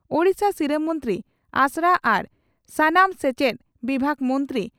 ᱳᱰᱤᱥᱟ ᱥᱤᱨᱟᱹ ᱢᱚᱱᱛᱨᱤ ᱟᱥᱲᱟ ᱟᱨ ᱥᱟᱱᱟᱢ ᱥᱮᱪᱮᱫ ᱵᱤᱵᱷᱟᱜᱽ ᱢᱚᱱᱛᱨᱤ